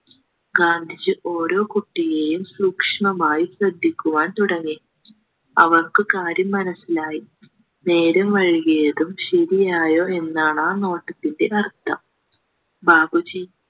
ഗാന്ധിജി ഓരോ കുട്ടിയേയും സൂക്ഷ്മമായി ശ്രദ്ധിക്കുവാൻ തുടങ്ങി അവർക്കു കാര്യം മനസിലായി നേരം വൈകിയതും ശരിയായോ എന്നാണാ നോട്ടത്തിന്റെ അർത്ഥം ബാപ്പുജി